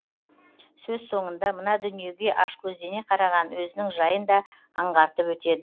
сөз соңында мына дүниеге ашкөздене қараған өзінің жайын да аңғартып өтеді